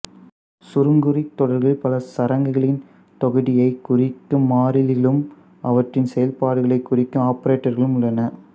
சுருங்குறித் தொடர்களில் பல சரங்களின் தொகுதியைக் குறிக்கும் மாறிலிகளும் அவற்றின் செயல்பாடுகளைக் குறிக்கும் ஆப்பரேட்டர்களும் உள்ளன